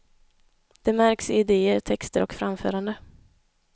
Det märks i idéer, texter, och framförande.